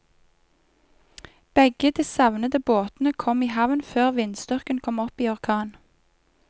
Begge de savnede båtene kom i havn før vindstyrken kom opp i orkan.